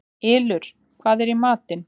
Ylur, hvað er í matinn?